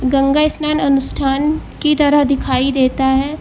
गंगा स्नान अनुष्ठान की तरह दिखाई देता है।